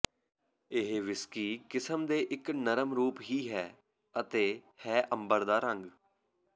ਇਹ ਵਿਸਕੀ ਕਿਸਮ ਦੇ ਇੱਕ ਨਰਮ ਰੂਪ ਹੀ ਹੈ ਅਤੇ ਹੈ ਅੰਬਰ ਦਾ ਰੰਗ